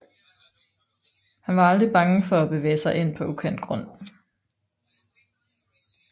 Han var aldrig bange for at bevæge sig ind på ukendt grund